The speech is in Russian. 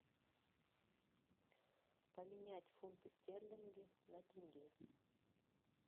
поменять фунты стерлинги на тенге